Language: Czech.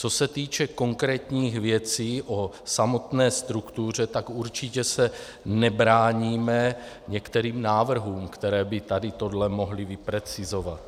Co se týče konkrétních věcí o samotné struktuře, tak určitě se nebráníme některým návrhům, které by tady tohle mohly vyprecizovat.